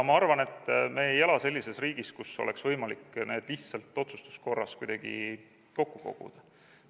Ma arvan, et me ei ela sellises riigis, kus oleks võimalik need lihtsalt otsustuskorras kuidagi kokku koguda.